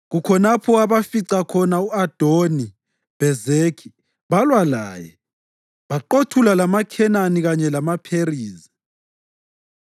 Kukhonapho abafica khona u-Adoni-Bhezekhi balwa laye, baqothula amaKhenani kanye lamaPherizi.